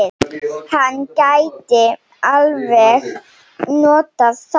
Hann gæti alveg notað þá.